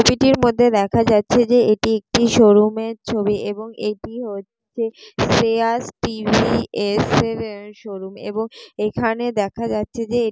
''ছবিটির মধ্যে দেখা যাচ্ছে যে এটি একটি শোরুমের ছবি এবং এটি হচ্ছে শ্রেয়াস টি.ভি.এস -এর শোরুম এবং এখানে দেখা যাচ্ছে যে--''